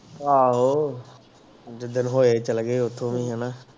ਆਹੋ ਜਿਦਣ ਚਲਗੇ ਓਥੋਂ ਵੀ ਨਹੀਂ ਆਉਣਾ